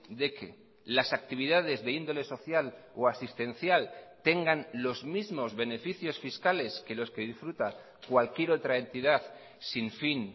de que las actividades de índole social o asistencial tengan los mismos beneficios fiscales que los que disfruta cualquier otra entidad sin fin